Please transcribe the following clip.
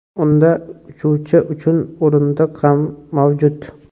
Unda uchuvchi uchun o‘rindiq ham mavjud.